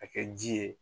A kɛ ji ye